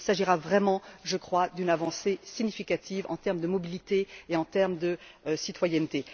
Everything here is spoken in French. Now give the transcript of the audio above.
Il s'agira vraiment, je crois, d'une avancée significative en termes de mobilité et en termes de citoyenneté.